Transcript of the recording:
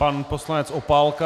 Pan poslanec Opálka.